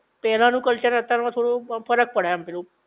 પેલા નું કલ્ચર ને અતાર માં થોડુંક ફર્ક પડે એમ પેલું